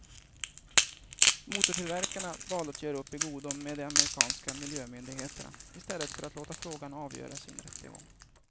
Motortillverkarna valde att göra upp i godo med de amerikanska miljömyndigheterna i stället för att låta frågan avgöras i en rättegång.